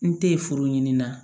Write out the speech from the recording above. N te furu ɲini na